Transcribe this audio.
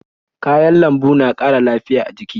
Kayan lambu na ƙara lafiya a jiki.